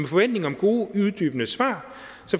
forventning om gode uddybende svar